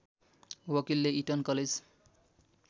वकिलले Eton college